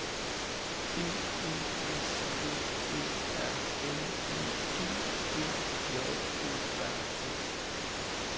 B E S V Æ R L I G G J O R T